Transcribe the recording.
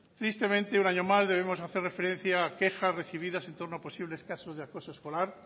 tristemente un año más debemos hacer referencia a quejas recibidas en torno a posibles casos de acoso escolar